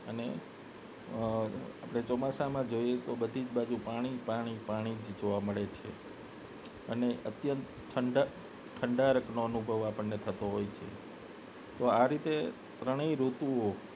અને અ આપને જોઈએ તો બધી જ બાજુ પાણી પાણી પાણી જોવા મળે છે અને અત્યંત ઠંડા ઠંડાંકરકનો અનુભવ થતો હોય છે આ રીતે ત્રણ ઋતુઓ